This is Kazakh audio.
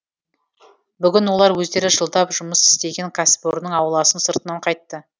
бүгін олар өздері жылдап жұмыс істеген кәсіпорынның ауласын сыртынан қайтты